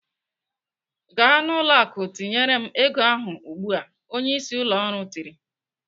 "Gaa n'ụlọ akụ tinyere m ego ahụ ugbu a!" Onyeisi ụlọ ọrụ tiri.